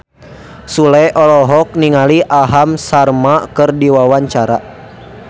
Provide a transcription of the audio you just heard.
Sule olohok ningali Aham Sharma keur diwawancara